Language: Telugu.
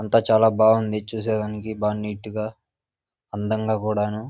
అంతా చాలా బాగుంది చూసేదానికి బాగా నీటుగా అందంగా కూడాను --